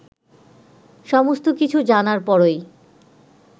সমস্ত কিছু জানার পরই